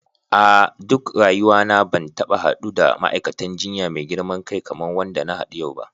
A duk rayuwa na ban taba haddu da ma'aikatan jinya mai girman kai kaman wanda na hadu yau ba.